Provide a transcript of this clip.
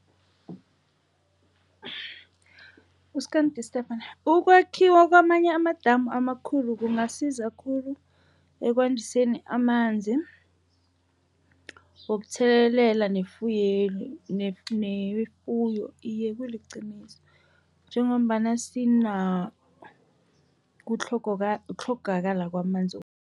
Ukwakhiwa kwamanye amadamu amakhulu kungasiza khulu ekwandiseni amanzi, wokuthelelela newefuyo. Iye, kuliqiniso njengombana sinakho ukutlhogakala kwamanzi.